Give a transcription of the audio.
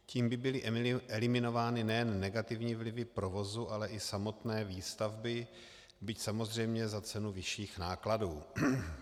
Tím by byly eliminovány nejen negativní vlivy provozu, ale i samotné výstavby, byť samozřejmě za cenu vyšších nákladů.